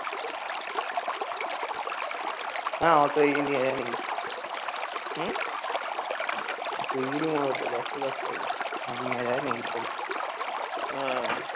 swiggy এর মতো back to back call আসে